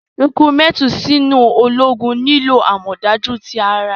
Rikurumenti sinu ologun nilo amọdaju ti ara.